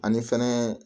Ani fɛnɛ